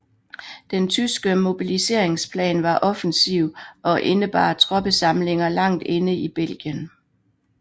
Den tyske mobiliseringsplan var offensiv og indebar troppesamlinger langt inde i Belgien